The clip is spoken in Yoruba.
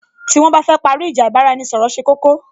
Tí wón bá fẹ́ parí ìjà, ì bá ra-ẹni ṣọ̀rọ̀ ṣe koko